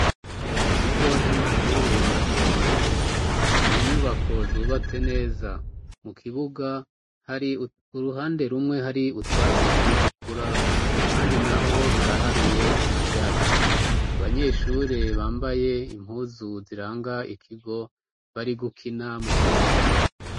mu kigo c'amashure mato mato ni inyubako zubatse neza mu kibuga hari uruhande rumwe hari utwatse turi gukura ahandi naho haraharuye nta byatsi abanyeshure bambaye impuzu ziranga ikigo bari gukina mu kibuga.